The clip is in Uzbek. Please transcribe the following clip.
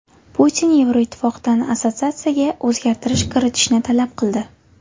Putin Yevroittifoqdan assotsiatsiyaga o‘zgartirish kiritishni talab qildi.